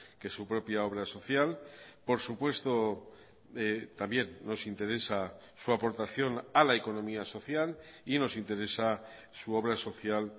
que su propia obra social por supuesto también nos interesa su aportación a la economía social y nos interesa su obra social